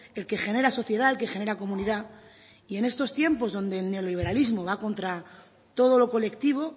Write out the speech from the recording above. el que genera sociedad el que genera comunidad y en estos tiempos en los que el neoliberalismo va contra todo lo colectivo